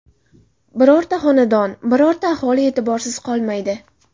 Birorta xonadon, birorta aholi e’tiborsiz qolmaydi.